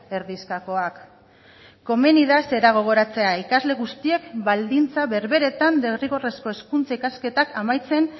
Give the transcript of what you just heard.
erdizkakoak komeni da zera gogoratzea ikasle guztiek baldintza berberetan derrigorrezko hezkuntza ikasketak amaitzen